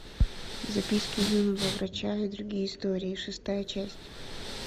записки юного врача и другие истории шестая часть